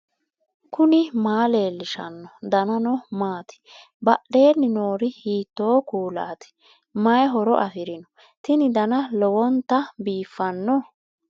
knuni maa leellishanno ? danano maati ? badheenni noori hiitto kuulaati ? mayi horo afirino ? tini dana lowonta biiffanno